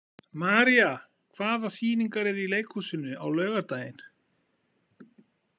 María, hvaða sýningar eru í leikhúsinu á laugardaginn?